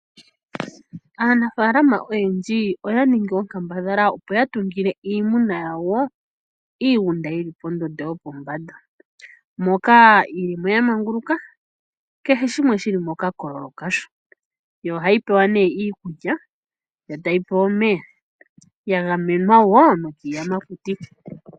Aanafaalama oyendji oya ningi onkambadha opo ya tungile iimuna yawo iigunda yi li pa mu thika gwopombanda. Moka yi limo ya manguluka, kehe shimwe shi li moka kololo kasho, yo oha yi pewa ne iikulya yo ta yi pewa omeya, ya gamenwa wo nokiiyamakuti.